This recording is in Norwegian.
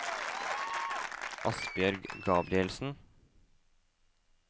Asbjørg Gabrielsen